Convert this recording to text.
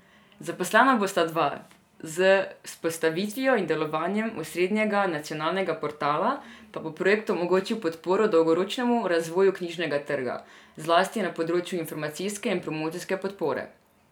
Zaposlena bosta dva, z vzpostavitvijo in delovanjem osrednjega nacionalnega portala pa bo projekt omogočil podporo dolgoročnemu razvoju knjižnega trga, zlasti na področju informacijske in promocijske podpore.